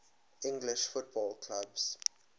english football clubs